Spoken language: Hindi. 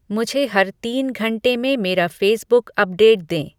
मुझे हर तीन घंटे में मेरा फ़ेसबुक अपडेट दें